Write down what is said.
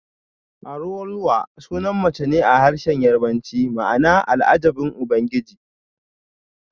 Araoluwa sunan mace ne a harshen Yarbanci ma'ana Al'ajabin Ubangiji